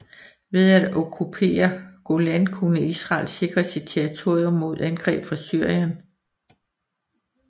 Ved at okkupere Golan kunne Israel sikre sit territorium mod angreb fra Syrien